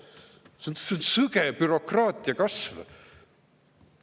See on sõge bürokraatia kasv.